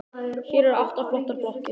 Hér eru átta flottar blokkir.